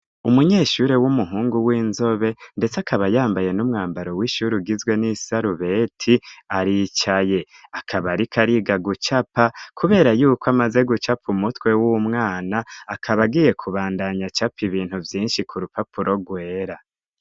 Umunyeshure w'umuhungu w'inzobe ndetse akaba yambaye n'umwambaro w'ishure ugizwe n'isarubeti aricaye akaba ariko ariga gucapa kubera yuko amaze gucapa umutwe w'umwana akaba agiye kubandanya acapa ibintu vyinshi ku rupapuro rwera.